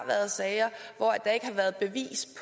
været sager hvor der ikke har været bevis